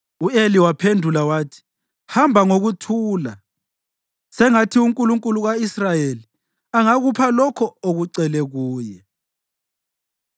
U-Eli waphendula wathi, “Hamba ngokuthula, sengathi uNkulunkulu ka-Israyeli angakupha lokho okucele kuye.”